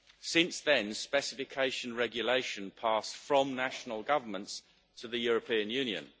Since then, specification regulation has passed from national governments to the European Union.